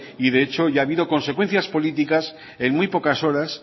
y de hecho ya ha habido consecuencias políticas en muy pocas horas